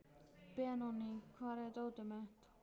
Benóný, hvar er dótið mitt?